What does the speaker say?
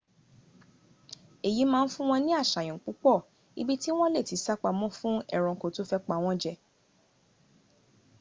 eyi ma n fun won ni asayan pupo ibi ti won le ti sa pamo fun eranko to fe pa won je